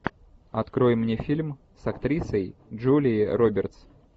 открой мне фильм с актрисой джулией робертс